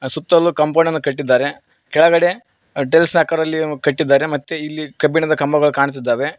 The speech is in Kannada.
ಅ ಸುತ್ತಲೂ ಕಾಂಪೌಂಡ ನ್ನು ಕಟ್ಟಿದ್ದಾರೆ ಕೆಳಗಡೆ ಟೈಲ್ಸ್ ಆಕಾರದಲ್ಲಿ ಕಟ್ಟಿದ್ದಾರೆ ಮತ್ತೆ ಇಲ್ಲಿ ಕಬ್ಬಿಣದ ಕಂಬಗಳು ಕಾಣ್ತಿದ್ದಾವೆ.